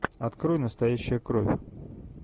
открой настоящая кровь